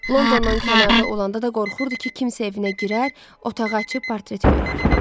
Londondan kənarda olanda da qorxurdu ki, kimsə evinə girər, otağı açıb portreti görər.